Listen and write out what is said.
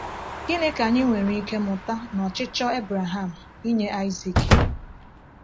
Gịnị ka anyị nwere ike mụta n’ọchịchọ Abraham inye Aịzik?